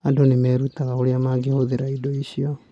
Andũ nĩ mareruta ũrĩa mangĩhũthĩra indo icio.